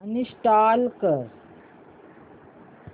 uninstall कर